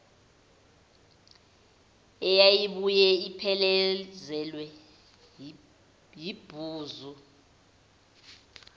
eyayibuye iphelezelwe yibhuzu